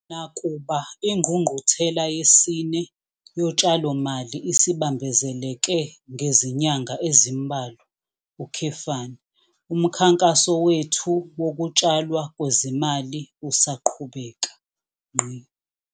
Nakuba iNgqungquthela yesine Yotshalomali isibambezeleke ngezinyanga ezimbalwa, umkhankaso wethu wokutshalwa kwezimali usaqhubeka.